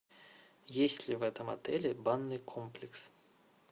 есть ли в этом отеле банный комплекс